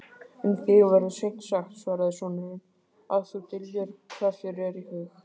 Um þig verður seint sagt, svaraði sonurinn,-að þú dyljir hvað þér er í hug.